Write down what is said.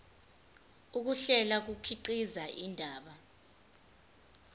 ukuhlela kukhiqiza indaba